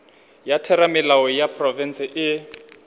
ya theramelao ya profense e